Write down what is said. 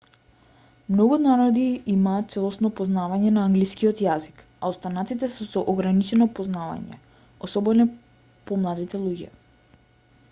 многу народи имаат целосно познавање на англискиот јазик a останатите се со ограничено познавање особено помладите луѓе